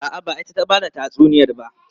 A'a, ba ita ta ba da tatsuniyar ba.